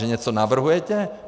Že něco navrhujete?